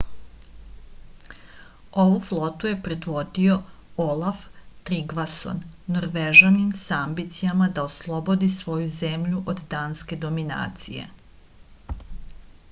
ovu flotu je predvodio olaf trigvason norvežanin sa ambicijama da oslobodi svoju zemlju od danske dominacije